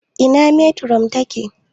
Ina metiron ta ke?